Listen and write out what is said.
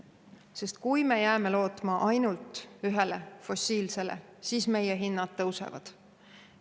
Sellepärast, et kui me jääme lootma ainult ühele fossiilsele, siis meie hinnad tõusevad.